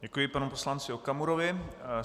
Děkuji panu poslanci Okamurovi.